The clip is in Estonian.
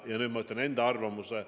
Ja nüüd ma ütlen enda arvamuse.